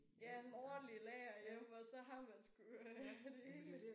Ja en ordentlig lager hjem og så har man sgu øh rigeligt